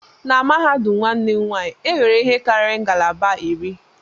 Na mahadum nwanne m nwanyị, e nwere ihe karịrị ngalaba iri